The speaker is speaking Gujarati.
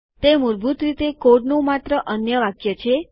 તે મૂળભૂત રીતે કોડનું માત્ર અન્ય વાક્ય છે